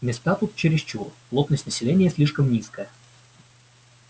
места тут чересчур плотность населения слишком низкая